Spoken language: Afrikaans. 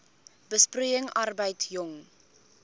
besproeiing arbeid jong